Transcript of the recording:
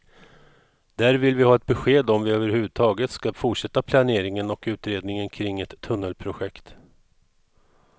Där vill vi ha ett besked om vi överhuvudtaget skall fortsätta planeringen och utredningen kring ett tunnelprojekt.